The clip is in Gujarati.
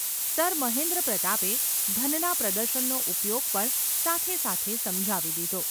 ’ સર મહેન્દ્રપ્રતાપે ધનના પ્રદર્શનનો ઉપયોગ પણ સાથે સાથે સમજાવી દીધો.